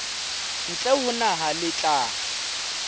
ntle ho naha le tla